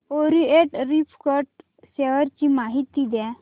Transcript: Orient refract share ची माहिती द्या